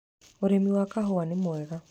Ũrĩmi wa kahũwa nĩ mwega.